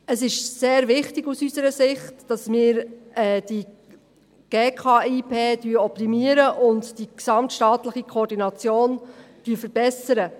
Es ist unserer Ansicht nach sehr wichtig, dass wir die GKIP optimieren und die gesamtstaatliche Koordination verbessern.